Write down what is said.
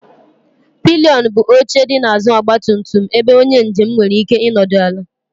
Pịlịọn bụ oche dị n'azụ ọgba tum tum ebe onye njem nwere ike ịnọdụ ala.